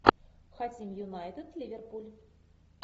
хотим юнайтед ливерпуль